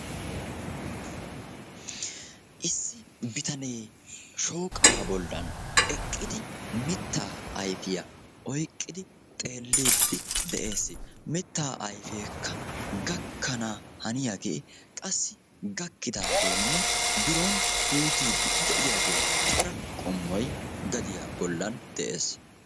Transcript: Issi bitanee shooqaa bollan eqqidi mittaa ayfiyaa oyqqidi xeelliidi de'ees. mittaa ayfeekka gakkana haniyaagee qassi gakkidagee biron puuttiidi de'iyaage cora qommoy gadiyaa bollan de'ees.